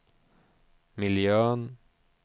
miljön